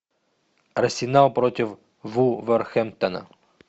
арсенал против вулверхэмптона